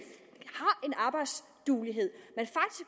arbejdsduelighed